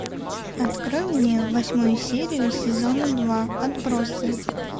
открой мне восьмую серию сезона два отбросы